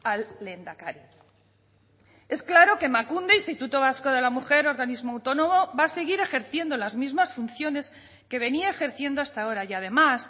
al lehendakari es claro que emakunde instituto vasco de la mujer organismo autónomo va a seguir ejerciendo las mismas funciones que venía ejerciendo hasta ahora y además